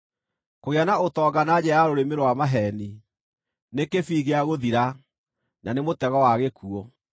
Kũgĩa na ũtonga na njĩra ya rũrĩmĩ rwa maheeni nĩ kĩbii gĩa gũthira, na nĩ mũtego wa gĩkuũ.